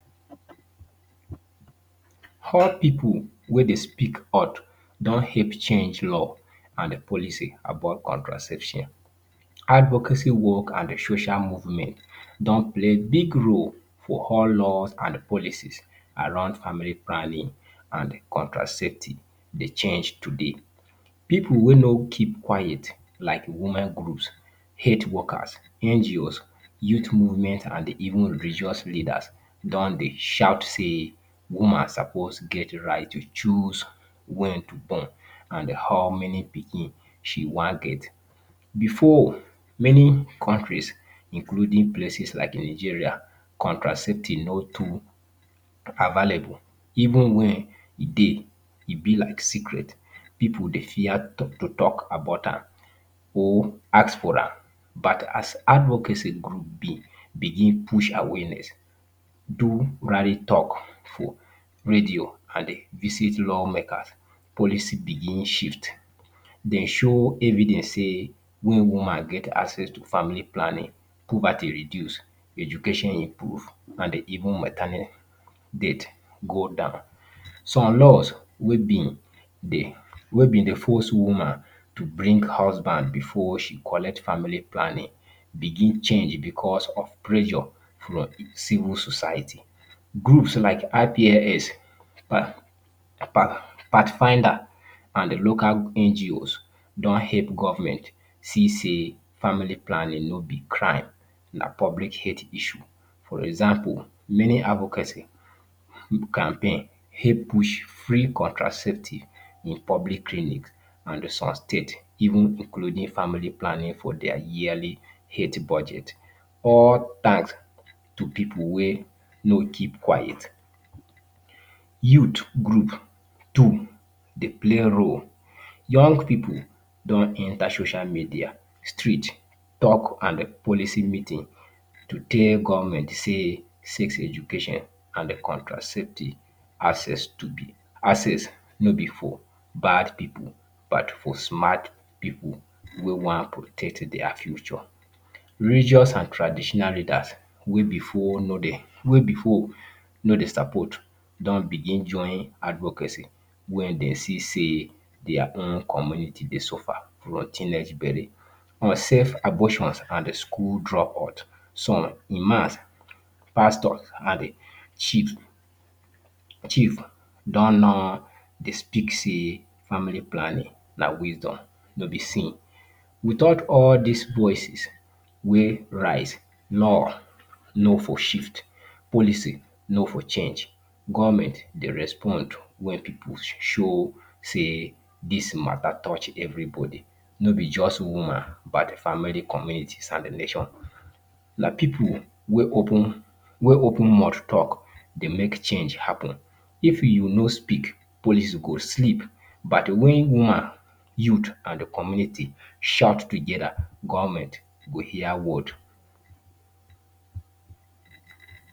how people wey dey speak out don help change law and policy about contraception. Advocacy work and social movement don play big role for how law and policy around family plannin and contraceptive change today. Pipu wey no kip quit like women group, health workers, NGO’S, youth movement and even religious leader don dey shout sey woman sopos get right to choose wen to born and how many pikin she wan get. Before meni countries including places like Nigeria, contraceptive no too available, even wen e dey e be like secret, pipu dey fear to talk about am or ask for am but as advocacy Grup be, bigin push awareness, do talk for radio and BBC law makers, policy bigin shift de show evidence sey mey woman get access to family plannin, poverty reduce, education improve and even maternal death go down. Some laws wey been dey force woman to bring husband before she go collect family plannin be change because of pressure from the civil society. Group like IPSS, part finders and local NGO’S don help government se sey family planin no be crime na public hate issue for example meni advocacy do campaign help push free contraceptive in public clinic and som state even include family plannin in dia yearly health budget. All tanks to pipul wey no keep quit, youth grup too play role. Young pipu don enter social media street, talk .And policy meetin to tel government sey sex education and the contraceptive access no be for bad pipu but for smat pipu wey wan protect dia future. Religious and traditional leadas wey before no dey sopot don begin join advocacy wey dey see sey dia own community dey suffer on teenage bele, unsave abortion and school dropout, som imam, pastor, chief don, no dey speak sey family planin na wisdom no be sin. Without all dis voices wey rise, law no for shift, policy no for change. Government dey respond wen pipu should show tey dis mata touch every body no be just woman but the family, community and the nation. But pipu wey open mouth talk dey make change, if you no speak policy go sleep but wen woman, youth, and the community shout togeda, government go hear word.